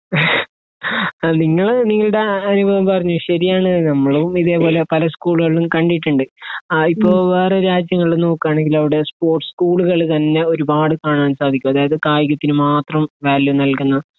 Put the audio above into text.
ആ നിങ്ങൾ നിങ്ങൾടെ അ അനുഭവം പറഞ്ഞു ശരിയാണ് നമ്മളും ഇതേ പോലെ പല സ്കൂള്കളു കണ്ടിട്ട്ണ്ട് ആ ഇപ്പൊ വേറെ രാജ്യങ്ങൾ നോക്കാണെങ്കിൽ അവിടെ സ്പോർട്സ് സ്കൂളുകൾ തന്നെ ഒരുപാട് കാണാൻ സാധിക്കും അതായത് കായികത്തിന് മാത്രം വാല്യൂ നൽകുന്ന